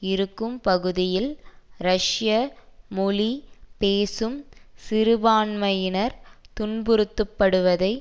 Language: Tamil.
இருக்கும் பகுதியில் ரஷ்ய மொழி பேசும் சிறுபான்மையினர் துன்புறுத்தப்படுவதை